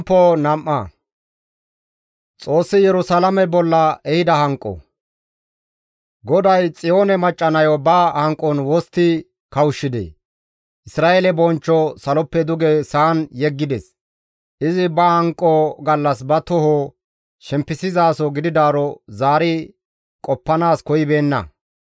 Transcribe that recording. GODAY Xiyoone macca nayo ba hanqon wostti kawushshidee! Isra7eele bonchcho saloppe duge sa7an yeggides; izi ba hanqo gallas ba toho shempisizaso gididaaro zaari qoppanaas koyibeenna.